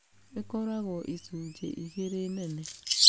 Ĩkoragwo icujĩ igĩrĩ nene.